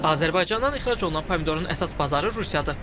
Azərbaycandan ixrac olunan pomidorun əsas bazarı Rusiyadır.